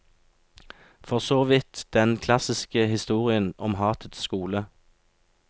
For såvidt den klassiske historien om hatets skole.